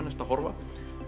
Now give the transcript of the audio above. ertu að horfa